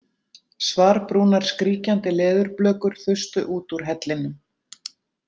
Svarbrúnar skríkjandi leðurblökur þustu út úr hellinum.